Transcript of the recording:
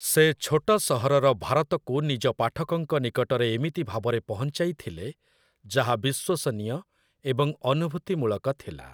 ସେ ଛୋଟ ସହରର ଭାରତକୁ ନିଜ ପାଠକଙ୍କ ନିକଟରେ ଏମିତି ଭାବରେ ପହଞ୍ଚାଇଥିଲେ ଯାହା ବିଶ୍ୱସନୀୟ ଏବଂ ଅନୁଭୂତିମୂଳକ ଥିଲା ।